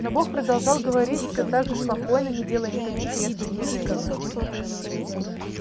но бог продолжал говорить всё так же спокойно не делая никаких резких движений